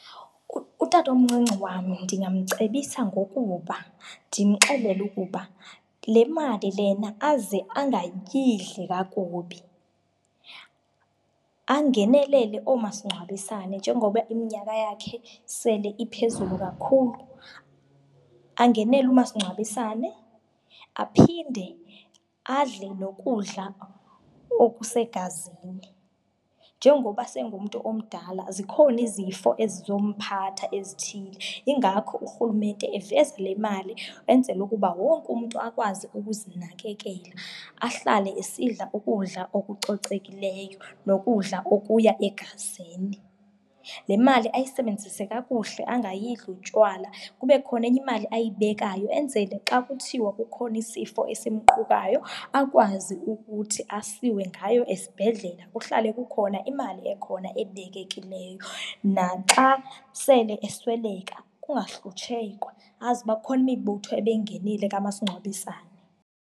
Utatomncinci wam ndingamcebisa ngokuba ndimxelele ukuba le mali lena aze angayidli kakubi, angenelele oomasingcwabisane njengoba iminyaka yakhe sele iphezulu kakhulu, angenele umasingcwabisane, aphinde adle nokudla okusegazini. Njengoba sengumntu omdala zikhona izifo ezizomphatha ezithile, yingako urhulumente evizile imali enzele ukuba wonke umntu akwazi ukuzinakelela, ahlale esidla ukudla okucocekileyo nokudla okuya egazini. Le mali ayisebenzise kakuhle angayidli utywala kube khona enye imali ayibekayo, enzele xa kuthiwa kukhona isifo esimqukayo akwazi ukuthi asiwe ngayo esibhedlela, kuhlale kukhona imali ekhona ebekekileyo. Naxa sele esweleka kungahlutshekwa, azi ukuba ikhona imibutho ebeyingenile ekamasingcwabisane.